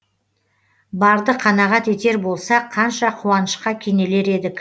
барды қанағат етер болсақ қанша қуанышқа кенелер едік